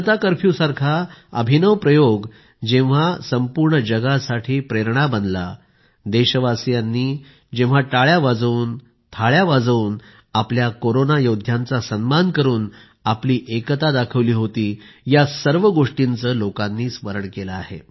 जनता कर्फ्यूसारखा अभिनव प्रयोग जेव्हा संपूर्ण जगासाठी प्रेरणा बनला देशवासीयांनी जेव्हा टाळ्या वाजवून थाळ्या वाजवून आपल्या कोरोना योद्ध्यांचा सन्मान करून आपली एकता दाखविली होती या सर्व गोष्टींचे लोकांनी स्मरण केले आहे